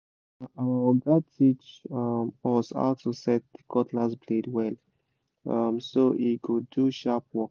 na our oga teach um us how to set the cutlass blade well um so e go do sharp work